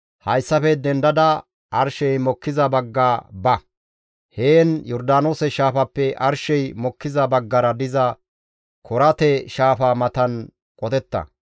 «Hayssafe dendada arshey mokkiza bagga ba; heen Yordaanoose Shaafappe arshey mokkiza baggara diza Korate shaafa matan qotetta.